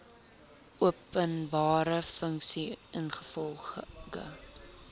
openbare funksie ingevolge